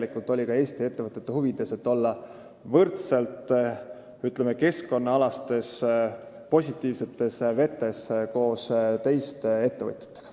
See oli tegelikult ka Eesti ettevõtete huvides, et olla võrdselt, ütleme, keskkonnaalaselt positiivsetes vetes koos teiste ettevõtjatega.